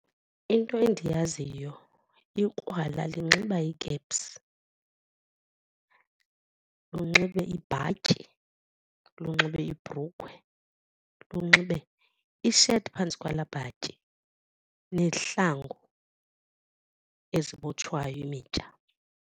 Into endiyaziyo ikrwala linxiba ikepsu, lunxibe ibhatyi, lunxibe ibhrukhwe, lunxibe isheti phantsi kwalaa bhatyi nezihlangu ezibotshwayo imitya.